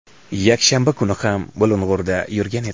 yakshanba kuni ham Bulung‘urda yurgan edi.